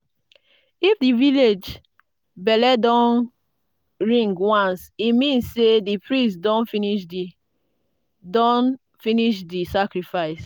if di village bell don ring once e mean say di priest don finish di don finish di sacrifice.